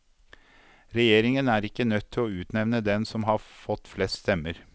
Regjeringen er ikke nødt til å utnevnte den som har fått flest stemmer.